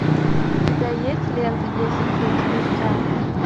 у тебя есть лента десять лет спустя